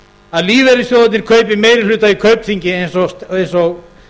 að lífeyrissjóðirnir kaupi meiri hluta í kaupþingi eins og